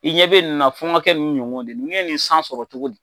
I ɲɛ bɛ ni na fo n ka kɛ nunnu ɲɔgɔn de nunnu ye nin san sɔrɔ cogo di.